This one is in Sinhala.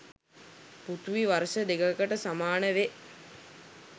පෘථිවි වර්ෂ දෙකකට සමානවේ.